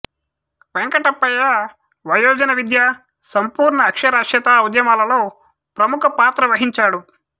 వెంకటప్పయ్య వయోజన విద్య సంపూర్ణ అక్షరాస్యత ఉద్యమాలలో ప్రముఖ పాత్ర వహించాడు